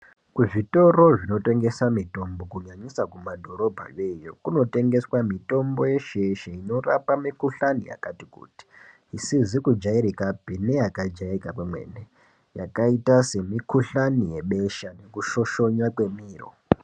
Kuzvitoro zvinotengesa mitombo kunyanyisa kumadhorobha yoyo kunotengeswa mitombo yeshe-yeshe inorapa mikuhlani yakati kuti. Isizi kujairikapi neyakajairika kwemene yakaita semikuhlani yebesha nekushoshona kwemiro.